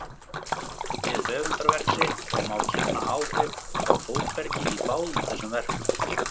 við höfundarverk sitt, og má kenna áhrif frá Þórbergi í báðum þessum verkum.